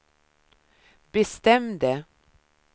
bestämde